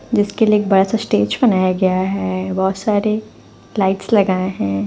जिस के लिए बड़ा सा बनाया गया है बहोत सारी लाइट्स लगाए है।